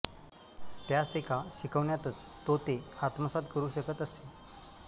त्यास एका शिकवण्यातच तो ते आत्मसात करू शकत असे